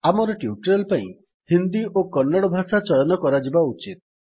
ଆମର ଟ୍ୟୁଟୋରିଆଲ୍ ପାଇଁ ହିନ୍ଦୀ ଓ କନ୍ନଡ଼ ଭାଷା ଚୟନ କରାଯିବା ଉଚିତ